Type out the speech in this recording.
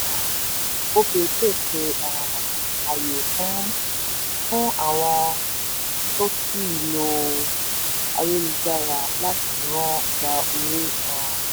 ilé iṣẹ́ um opay pèsè um àyè fún fún àwọn tó kì í lo ayélujára lati rán/gba owó. um